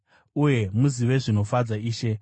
uye muzive zvinofadza Ishe.